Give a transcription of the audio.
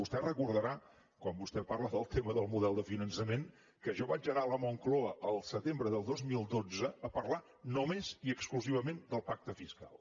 vostè deu recordar quan vostè parla del tema del model de finançament que jo vaig anar a la moncloa al setembre del dos mil dotze a parlar només i exclusivament del pacte fiscal